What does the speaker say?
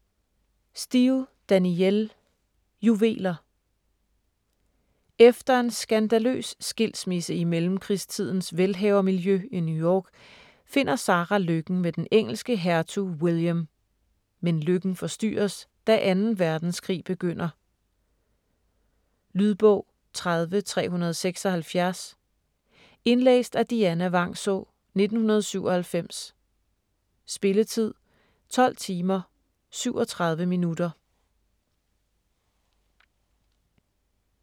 Steel, Danielle: Juveler Efter en skandaløs skilsmisse i mellemkrigstidens velhavermiljø i New York finder Sarah lykken med den engelske hertug William. Men lykken forstyrres, da 2. verdenskrig begynder... Lydbog 30376 Indlæst af Dianna Vangsaa, 1997. Spilletid: 12 timer, 37 minutter.